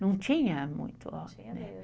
Não tinha muito.